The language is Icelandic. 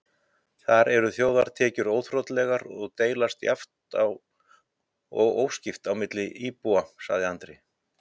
Þar eru þjóðartekjur óþrotlegar og deilast jafnt og óskipt niður á íbúana, sagði Andri.